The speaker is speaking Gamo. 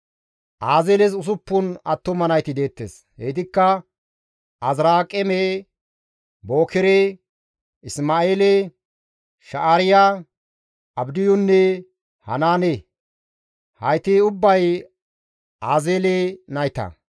Azeeles 6 attuma nayti deettes; heytikka Azirqaame, Bookere, Isma7eele, Sha7aariya, Abdiyunne Hanaane; hayti ubbay Azeele nayta.